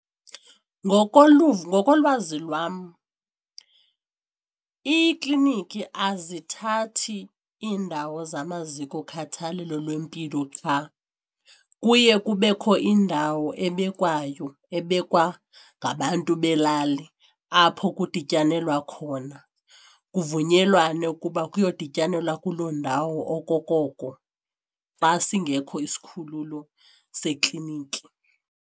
Ngokoluvo ngokolwazi lwam iikliniki azithathi indawo zamaziko okhathalelo lwempilo qha, kuye kubekho iindawo ebekwayo abekwa ngabantu futhi belali apho kudityanelwe khona kuvunyelwane ukuba kuyodityanelwa kuloo ndawo okokoko xa singekho isikhululo seklinikhi.